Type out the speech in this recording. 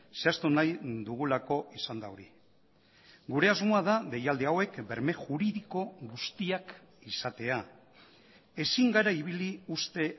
zehaztu nahi dugulako izan da hori gure asmoa da deialdi hauek berme juridiko guztiak izatea ezin gara ibili uste